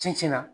Cɛncɛn na